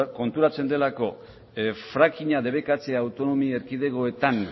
konturatzen delako frackinga debekatzea autonomi erkidegoetan